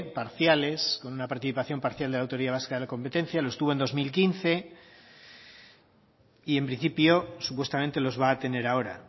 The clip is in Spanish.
parciales con una participación parcial de la autoridad vasca de la competencia los tuvo en dos mil quince y en principio supuestamente los va a tener ahora